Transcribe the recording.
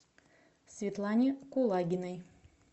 светлане кулагиной